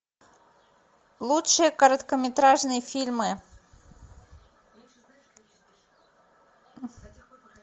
лучшие короткометражные фильмы